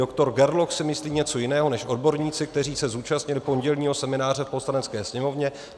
Doktor Gerloch si myslí něco jiného než odborníci, kteří se zúčastnili pondělního semináře v Poslanecké sněmovně.